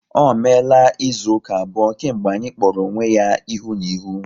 Ọ meela izu ụka abụọ kemgbe anyị kpọrọ onwe ya ihu na ihu